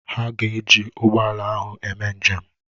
Ha ga-eji ụgbọ ala ahụ eme njem?